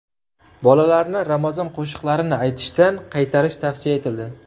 Bolalarni ramazon qo‘shiqlarini aytishdan qaytarish tavsiya etildi.